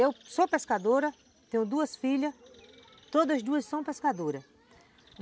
Eu sou pescadora, tenho duas filhas, todas duas são pescadoras.